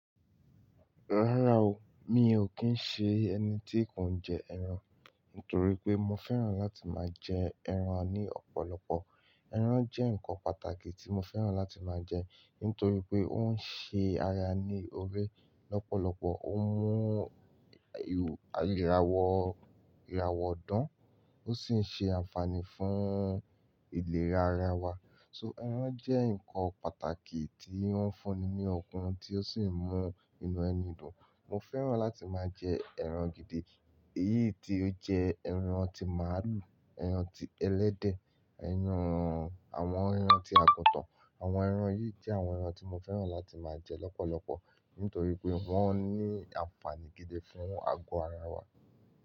Rárá o, mi ò kí ń ṣe ẹni tí kò ń jẹ ẹran nítorí pé mo fẹ́ràn láti máa jẹ ẹran ní ọ̀pọ̀lọpọ̀. Eran jẹ́ nǹkan pàtàkì tí mo fẹ́ràn láti máa jẹ nítorí pé ó ń ṣe ara ní ọre lọ́pọ̀lọpọ̀, ó ń mú ìràwọ̀ ìràwọ̀ dán, ó sì ń ṣe àǹfààní fún ìlera ara wa. So ẹran jẹ́ nǹkan pàtàkì tí oun fúnni ní okun tí ó sì ń mú inú ẹni dùn. Mo fẹ́ràn láti máa jẹ ẹran gidi, èyí tí ó jẹ ẹran tí màálù, ẹran tí ẹlẹ́dẹ̀, ẹran àwọn ẹran tí àgùntàn. Àwọn ẹran yìí jẹ́ àwọn ẹran tí mo fẹ́ràn láti máa jẹ lọ́pọ̀lọpọ̀ nítorí pé wọ́n ní àǹfààní gidi fún àgọ́ ara wa.